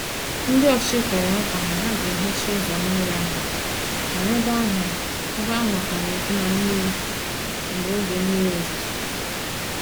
Ndị ọchịchị kwere nkwa na ha ga hicha ụzọ mmiri ahụ, mana ebe ahụ ebe ahụ ka na-eju na mmiri mgbe n'oge mmiri ozuzo.